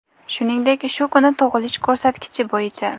Shuningdek, shu kuni tug‘ilish ko‘rsatkichi bo‘yicha:.